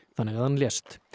þannig að hann lést